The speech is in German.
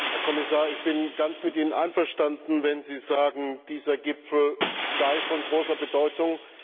Herr Kommissar, ich bin ganz mit Ihnen einverstanden, wenn Sie sagen, dieser Gipfel sei von großer Bedeutung.